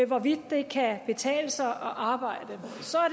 hvorvidt det kan betale sig at arbejde